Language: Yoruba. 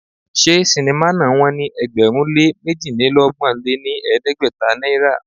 Ṣé sinimá náà wón ní ẹgbẹ̀rún lé méjidínọgbọ̀n lé ní ẹgbẹ́ta náírà?